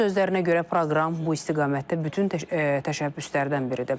Onun sözlərinə görə proqram bu istiqamətdə bütün təşəbbüslərdən biridir.